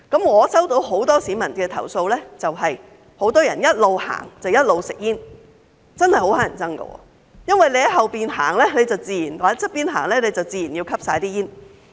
我接獲很多市民投訴，指很多人一邊走一邊吸煙，真的十分討人厭，因為走在後面或旁邊的人，自然會吸入煙霧。